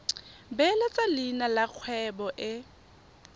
beeletsa leina la kgwebo e